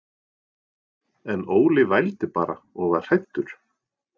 En Óli vældi bara og var hræddur.